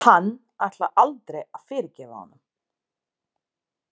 Hann ætlar aldrei að fyrirgefa honum.